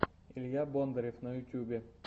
илья бондарев на ютюбе